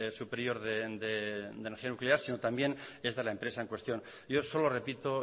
superior de energía nuclear sino también es de la empresa en cuestión yo solo repito